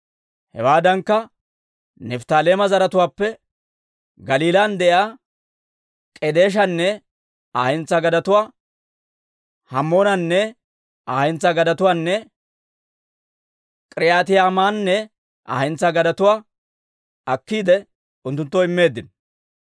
Hewaadankka Nifttaaleema zaratuwaappe Galiilan de'iyaa K'edeeshanne Aa hentsaa gadetuwaa, Hammoonanne Aa hentsaa gadetuwaanne K'iriyaatayimanne Aa hentsaa gadetuwaa akkiide, unttunttoo immeeddino.